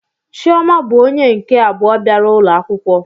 Chioma bụ onye nke abụọ bịara ụlọ akwụkwọ